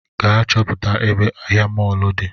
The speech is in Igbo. Gaa chọpụta ebe ahịa mọlụ di